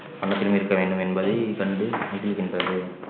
வண்ணத்தில் இருக்க வேண்டும் என்பதை கண்டு மகிழ்கின்றது